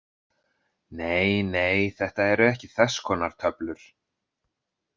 Nei, nei, Þetta eru ekki þess konar töflur.